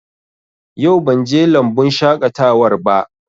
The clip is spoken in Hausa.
Yau ban je lambun shaƙatawar ba